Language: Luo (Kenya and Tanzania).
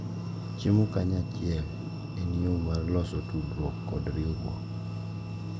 Chiemo kanyachiel en yo mar loso tudruok kod riwruok,